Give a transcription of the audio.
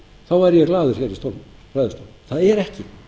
þá væri ég glaður í ræðustólnum það er ekki